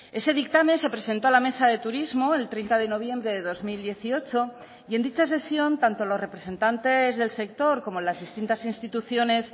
ese dictamen se presentó a la mesa de turismo el treinta de noviembre de dos mil dieciocho y en dicha sesión tanto los representantes del sector como las distintas instituciones